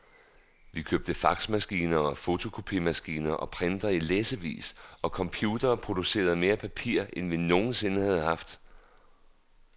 Vi købte faxmaskiner og fotokopimaskiner og printere i læssevis, og computerne producerede mere papir end vi nogen sinde havde haft.